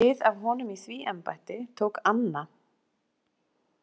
Við af honum í því embætti tók Anna.